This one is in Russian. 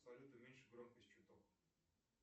салют уменьши громкость чуток